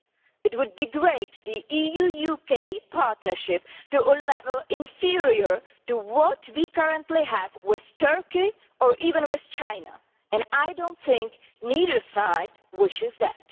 It would degrade the EU UK partnership to a level inferior to what we currently have with Turkey, or even with China, and I do not think either side wishes that.